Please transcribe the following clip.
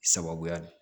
Sababuya